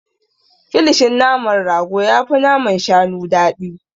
Kilishin naman rago yafi naman shanu daɗi.